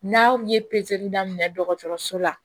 N'a ye pezeli daminɛ dɔgɔtɔrɔso la